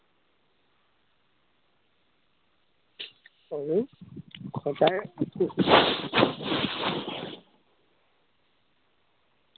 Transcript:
আমি সদায়